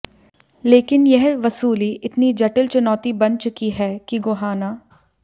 लेकिन यह वसूली इतनी जटिल चुनौती बन चुकी है कि गोहाना